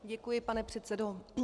Děkuji, pane předsedo.